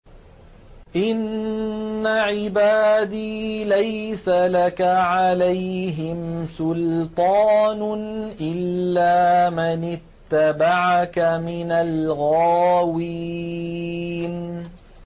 إِنَّ عِبَادِي لَيْسَ لَكَ عَلَيْهِمْ سُلْطَانٌ إِلَّا مَنِ اتَّبَعَكَ مِنَ الْغَاوِينَ